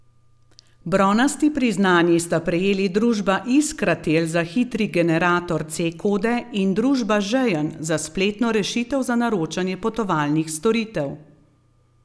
Bronasti priznanji sta prejeli družba Iskratel za hitri generator C kode in družba Žejn za spletno rešitev za naročanje potovalnih storitev.